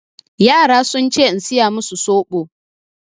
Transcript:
Yara sun ce in saya masu soɓo.